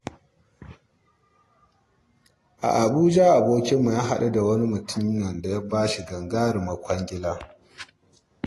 A Abuja abokinmu ya haɗu da mutumin da ya ba shi wata gagarumar kwangila.